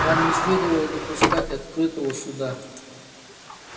вам не следовало допускать открытого суда